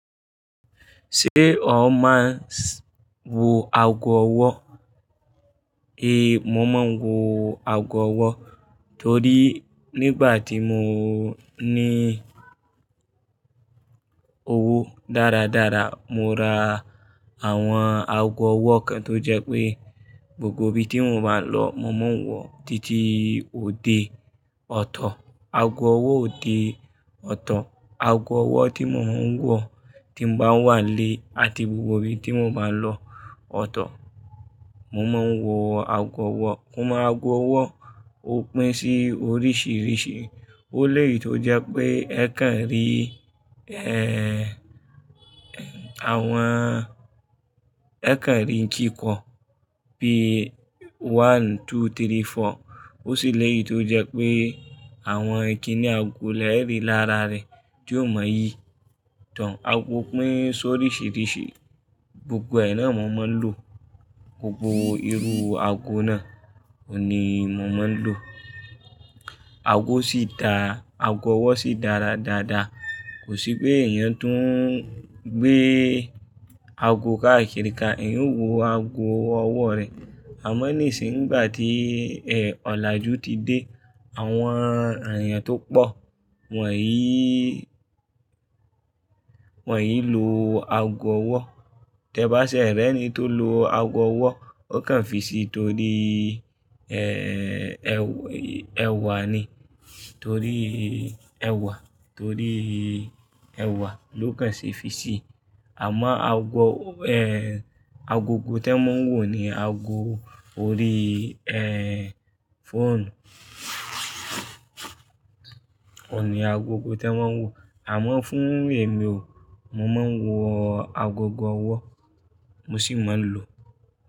Ṣé o máa ń s-- wo ago ọwọ́? Ehn, mo máa ń wo ago ọwọ́ torí nígbà tí mo ní owó dáradára, mo ra àwọn ago ọwọ́ kan tó jẹ́ pé gbogbo ibi tí mò máa lọ, mo máa ń wọ, títí òde ọ̀tọ̀. Ago ọwọ́ òde ọ̀tọ̀, ago ọwọ́ tí mo máa ń wọ tí n bá wà lé àti gbogbo ibi tí mo bá lọ ọ̀tọ̀, mo máa ń wọ ago ọwọ́. Kò mọ ago ọwọ́ ó pín sí oríṣìíríṣìí. Ó léyìí tó jẹ́ pé ẹ kàn rí, ehhh, eh, àwọn-- ẹ kàn rí kìkọ́ bí i one, two, three, four. Ó sì léyìí tó jẹ́ pé àwọn ìkíní ago lẹ rí lára rẹ tí o mọ̀ yí tán. Ago pín sí oríṣìíríṣìí, gbogbo ẹ̀ náà mo máa ń lò. Gbogbo irú ago náà òní mo máa ń lò. Ago sì dá, ago ọwọ́ sì dára dáadaa. Kò sí pé èèyàn tún ń gbé ago káàkiri ká. Èèyàn ó wo ago ọwọ́ rẹ̀. Àmọ́ ní sì nígbà tí, eh, ọ̀làjú ti dé, àwọn èèyàn tó pọ̀ wọ̀nyíí, wọ̀nyí ń lo ago ọwọ́. Tẹ báṣẹ̀ rẹ́ ní tó lo ago ọwọ́, ó kàn fi sí torí, ehhh, ẹw- ẹwà ni. Torí ẹwà, torí ẹwà ló kàn ṣe fi sí. Àmọ́ ago, eh, agogo tẹ mọ ń wò ni ago orí, eh, fóònù. Òní agogo tẹ mọ ń wò. Àmọ́ fún èmi o, mo máa ń wọ agogo ọwọ́, mo sì máa ń lò.